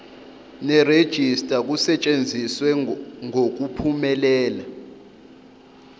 nerejista kusetshenziswe ngokuphumelela